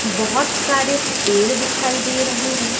बहोत सारे पेड़ दिखाई दे रहे हैं।